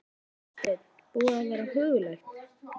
Hafsteinn: Búið að vera huggulegt?